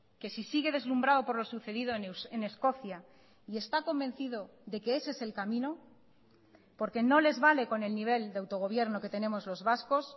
que si sigue deslumbrado por lo sucedido en escocia y está convencido de que ese es el camino porque no les vale con el nivel de autogobierno que tenemos los vascos